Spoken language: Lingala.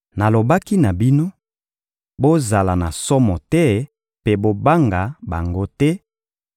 Nalobaki na bino: «Bozala na somo te mpe bobanga bango te,